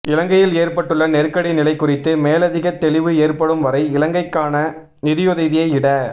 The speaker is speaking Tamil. இலங்கையில் ஏற்பட்டுள்ள நெருக்கடி நிலை குறித்து மேலதிக தெளிவு ஏற்படும் வரை இலங்கைக்கான நிதியுதவியை இட